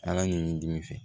Ala ɲinini dimi fɛ